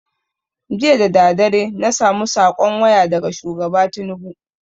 Jiya dadadare na samu saƙon waya daga shugaba tinubu